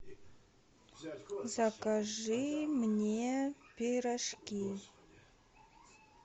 закажи мне пирожки